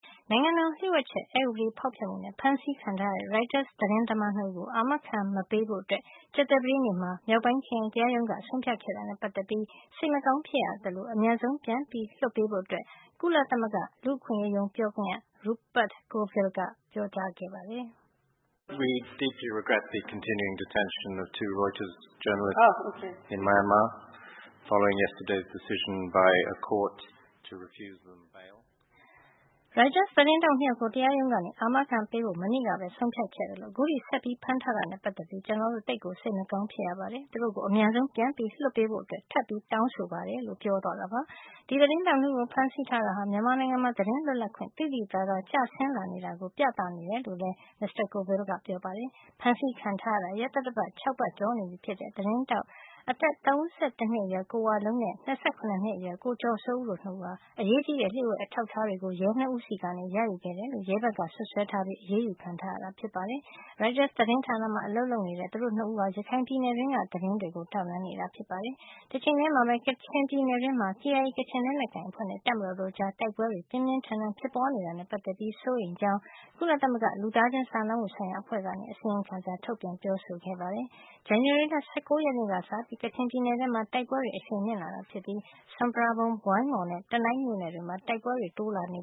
နိုင်ငံတော် လျို့ဝှက်ချက် အက်ဥပဒေ ဖောက်ဖျက်မှုနဲ့ ဖမ်းဆီးခံထားရတဲ့ Reuters သတင်းသမား ၂ ဦးကို အာမခံမပေးဖို့ ကြာသပတေးနေ့က မနေ့က မြောက်ပိုင်း ခရိုင်တရားရုံး ကနေ ဆုံးဖြတ်ခဲ့တာနဲ့ ပတ်သက်ပြီး စိတ်မကောင်း ဖြစ်ရသလို အမြန်ဆုံး ပြန်လွှတ်ပေးဖို့ ကုလသမဂ္ဂ လူ့အခွင့်ရေးရုံးက တောင်းဆိုလိုက်ပါတယ်။ ကုလသမဂ္ဂ လူ့အခွင့်ရေးရုံး ပြောခွင့်ရ Rupert Colville က သောကြာနေ့မှာ ပြောကြားလိုက်တာပါ။ “ရိုက်တာက သတင်းထောက် ၂ ယောက်ကို တရားရုံးက အာမခံမပေးဖို့ ဆုံးဖြတ်ခဲ့သလို အခုထိဆက်ဖမ်းထားတာနဲ့ ပတ်သက်ပြီး ကျွန်တော်တို့ သိပ်ကိုစိတ်မကောင်း ဖြစ်ရပါတယ်။ သူတို့ကို အမြန်ဆုံးပြန်ပြီး လွှတ်ပေးဖို့ ထပ်ပြီး တောင်းဆိုပါတယ်။ ဒီသတင်းထောက် ၂ ဦး ကိုဖမ်းဆီးတာဟာ မြန်မာနိုင်ငံမှာ သတင်းလွတ်လပ်ခွင့် သိသိသာသ ကျဆင်းလာနေတာကို ပြသနေတယ်လို့လည်း မစ္စတာ Colville ကပြောပါတယ်။ ဖမ်းဆီးခံထားရတာ ရက်သတ္တပတ် ၆ ပတ်ကျော်နေပြီဖြစ်တဲ့ သတင်းထောက် အသက် ၃၁ နှစ်အရွယ် ကိုဝလုံးနဲ့ ၂၇ နှစ်အရွယ် ကိုကျော်စိုးဦးတို့ နှစ်ဦးဟာ အရေးကြီးတဲ့ လျှို့ဝှက်အထောက်အထားတွေကို ရဲနှစ်ဦးဆီက ရယူခဲ့တယ်လို့ ရဲဘက်စွပ်စွဲ ထားပြီး အရေးယူခံထားရတာဖြစ်ပါတယ်။ ရိုက်တာသတင်းဌာနမှာ အလုပ်လုပ်နေတဲ့ သူတို့ ၂ ဦးဟာ ရခိုင်ပြည်နယ်တွင်းက သတင်းတွေကို ထောက်လှန်းနေတာ ဖြစ်ပါတယ်။ တချိန်ထဲမှာပဲ ကချင်ပြည်နယ်တွင်းမှာ KIA ကချင်လက်နက်ကိုင်အဖွဲ့နဲ့ တပ်မတော်တို့ကြား တိုက်ပွဲတွေ ပြင်းပြင်းထန်ထန် ဖြစ်ပွါးနေတာ နဲ့ ပတ်သက်ပြီး စိုးရိမ်ကြောင်း ကုလသမဂ္ဂ လူသားချင်းစာနာမှု ဆိုင်ရာအဖွဲ့က အစီရင်ခံစာ ထုတ်ပြန်ပြောဆိုခဲ့ပါတယ်။ ဇန်နဝါရီလ ၁၉ ရက်နေ့ကစပြီး ကချင်ပြည်နယ်ထဲမှာ တိုက်ပွဲတွေ အရှိန်မြင့်လာတာ ဖြစ်ပါတယ်။ စွန်ပရာဘုံ၊ ဝိုင်းမော်နဲ့ တနိုင်း မြို့နယ်တွေမှာ တွေမှာ တိုက်ပွဲတွေ တိုးလာနေ